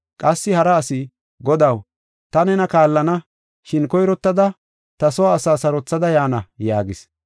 Qassi hara asi, “Godaw, ta nena kaallana, shin koyrottada ta soo asa sarothada yaana” yaagis.